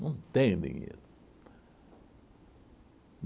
Não tenho dinheiro.